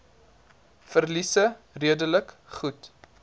verliese redelik goed